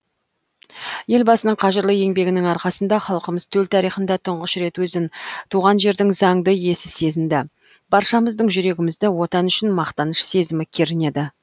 елбасының қажырлы еңбегінің арқасында халқымыз төл тарихында тұңғыш рет өзін туған жердің заңды иесі сезінді баршамыздың жүрегімізді отан үшін мақтаныш сезімі кернеді